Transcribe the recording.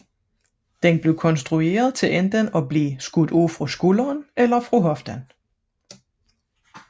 Den blev konstrueret til enten at blive afskudt fra skulderen eller fra hoften